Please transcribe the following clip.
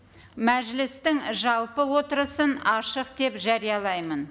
мәжілістің жалпы отырысын ашық деп жариялаймын